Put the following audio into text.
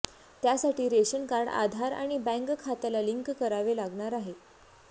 त्यासाठी ration card Aadhaar आणि bank खात्याला लिंक करावे लागणार आहे